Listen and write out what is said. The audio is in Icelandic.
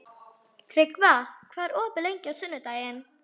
Kafbátsforinginn bað félaga hans að ganga út um stund.